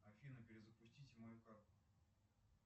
афина перезапустите мою карту